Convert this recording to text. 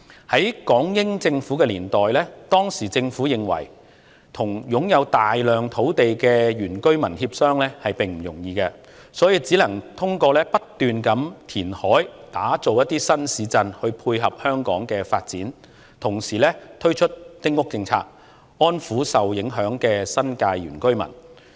在港英政府年代，當時政府認為與擁有大量土地的原居民協商並不容易，只能通過不斷填海打造新市鎮來配合香港的發展，同時推出丁屋政策，以安撫受影響的新界原居民。